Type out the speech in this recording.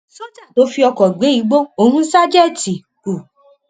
sójà tó fi ọkọ gbé igbó ohùn ṣàjètì u